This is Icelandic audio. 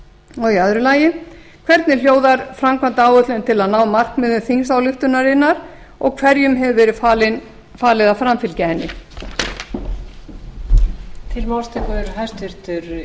tvö þúsund og níu öðrum hvernig hljóðar framkvæmdaáætlun til að ná markmiðum þingsályktunarinnar og hverjum hefur verið falið að framfylgja henni